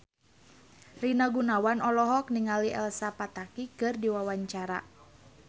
Rina Gunawan olohok ningali Elsa Pataky keur diwawancara